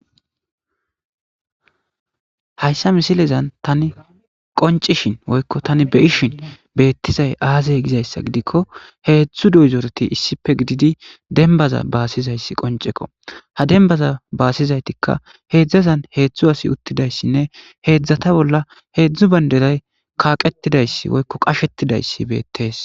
Hayssa missilezzan tani qoncishin woykko tan be'ishin bethizayi azze gizayssa gidikko issippe godidi dembaza basizaysi qoncekko ha dembaza basizaythika hezzu assi uttidayssane hezatha bolla hezzu bandiray kaqethidayssa woykko qashethidayssi bethes.